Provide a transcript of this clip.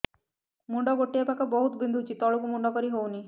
ମୁଣ୍ଡ ଗୋଟିଏ ପାଖ ବହୁତୁ ବିନ୍ଧୁଛି ତଳକୁ ମୁଣ୍ଡ କରି ହଉନି